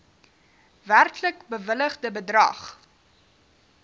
werklik bewilligde bedrag